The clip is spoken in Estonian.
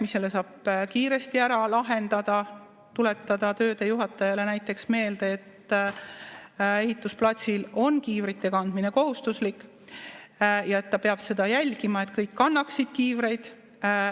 Selle saab kiiresti ära lahendada, tuletada töödejuhatajale näiteks meelde, et ehitusplatsil on kiivrite kandmine kohustuslik ja et ta peab seda jälgima, et kõik kannaksid kiivreid.